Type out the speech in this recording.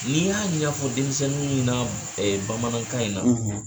N'i y'a ɲafɔ denmisɛnnin ɲɛna b bamanankan in na